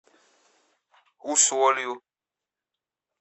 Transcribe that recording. усолью